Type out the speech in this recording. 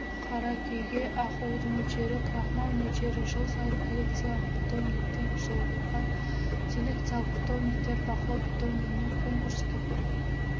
қаракүйеге ақуыз мөлшері крахмал мөлшері жыл сайын коллекциялық питомниктен жылғы селекциялық питомниктен бақылау питомнигінен конкурстық